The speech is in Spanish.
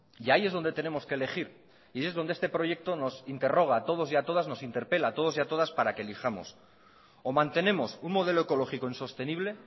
y ahí es donde tenemos que elegir y es dónde este proyecto nos interroga a todos y a todas nos interpela a todos y a todas para que elijamos o mantenemos un modelo ecológico insostenible